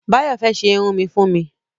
Báyọ̀ fẹ́ ṣe irun mi fún mi